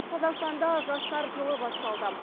қазақстанда жастар жылы басталды